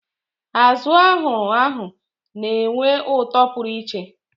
Azụ ahuru ahu na-enwe ụtọ pụrụ iche.